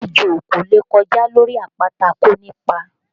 Ejò kò lè kọjá lórí àpáta kó ni ipa